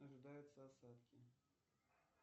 ожидаются осадки